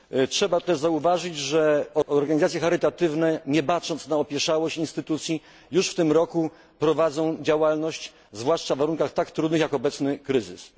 Trzeba też zauważyć, że organizacje charytatywne, nie bacząc na opieszałość instytucji, już w tym roku prowadzą działalność, zwłaszcza w warunkach tak trudnych, jak obecny kryzys.